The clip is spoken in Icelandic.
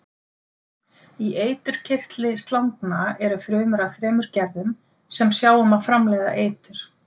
Í eiturkirtli slangna eru frumur af þremur gerðum sem sjá um að framleiða eitur.